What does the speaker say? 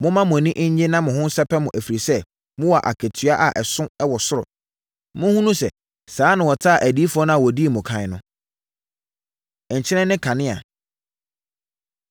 Momma mo ani nnye na monsɛpɛ mo ho, ɛfiri sɛ, mowɔ akatua a ɛso wɔ ɔsoro. Monhunu sɛ saa ara na wɔtaa adiyifoɔ a wɔdii mo ɛkan no. Nkyene Ne Kanea